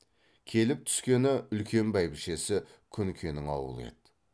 келіп тускені үлкен бәйбішесі күнкенің ауылы еді